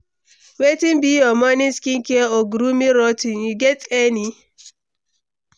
Wetin be your morning skincare or grooming routine, you get any?